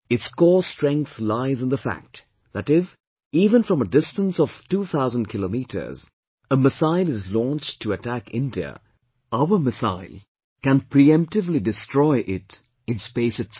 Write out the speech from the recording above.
Its core strength lies in the fact that if, even from a distance of 2000 km, a missile is launched to attack India, our missile can preemptively destroy it in the space itself